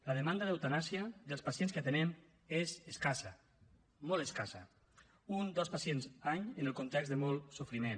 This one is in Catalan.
la demanda d’eutanàsia dels pacients que atenem és escassa molt escassa un dos pacients any en el context de molt sofriment